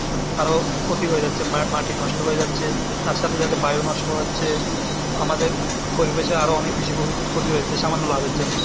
আরো ক্ষতি হয়ে যাচ্ছে মা~ মাটি নষ্ট হয়ে যাচ্ছে তার সাথে সাথে বায়ু নষ্ট হচ্ছে আমাদের পরিবেশে আরো অনেক বেশি ক্ষতি হয়েছে সামান্য লাভের জন্য।